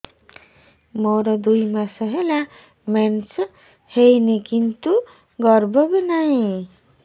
ମୋର ଦୁଇ ମାସ ହେଲା ମେନ୍ସ ହେଇନି କିନ୍ତୁ ଗର୍ଭ ବି ନାହିଁ